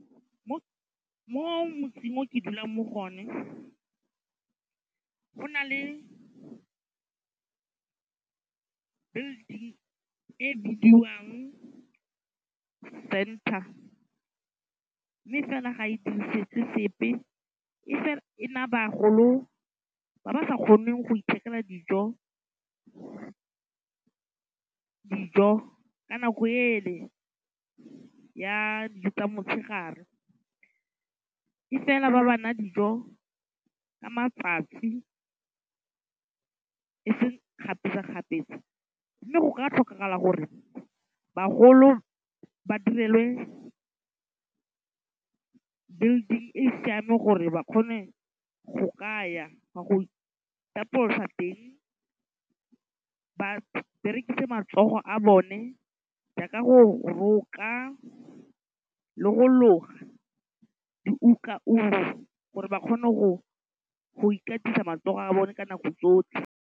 Mo motseng o ke dulang mo go one, go na le building e bidiwang Centre. Mme fela ga e dirisetswe sepe. E fela e naa bagolo ba ba sa kgoneng go ithekela dijo ka nako ele ya dijo tsa motshegare. E fela ba ba naa dijo ka matsatsi e seng kgapetsa-kgapetsa. Mme go ka tlhokagala gore bagolo ba direlwe building e e siameng gore ba kgone go ka ya gwa go itapolosa teng ba berekise matsogo a bone jaaka go roka le go loga diukaungo gore ba kgone go ikatisa matsogo a bone ka nako tsotlhe.